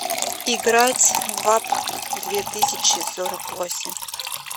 играть в апп две тысячи сорок восемь